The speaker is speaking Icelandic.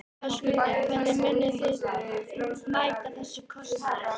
Höskuldur: Hvernig munið þið mæta þessum kostnaði?